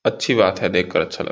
अच्छी बात है देखकर अच्छा लगा।